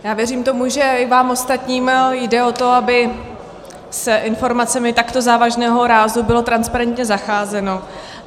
Já věřím tomu, že i vám ostatním jde o to, aby s informacemi takto závažného rázu bylo transparentně zacházeno.